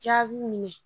Jaabi minɛ